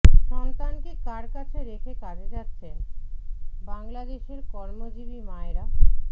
সন্তানকে কার কাছে রেখে কাজে যাচ্ছেন বাংলাদেশের কর্মজীবী মায়েরা